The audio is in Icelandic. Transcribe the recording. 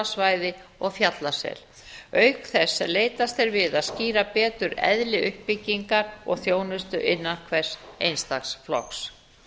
skálasvæði og fjallasel auk þess að leitast er við að skýra betur eðli uppbygging og þjónustu innan hvers einstaks flokks